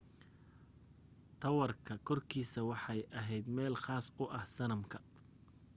taawarka korkiisa waxay ahayd meel khaas u ah sanamka